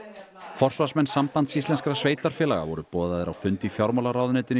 forsvarsmenn Sambands íslenskra sveitarfélaga voru boðaðir á fund í fjármálaráðuneytinu í